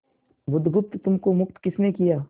बुधगुप्त तुमको मुक्त किसने किया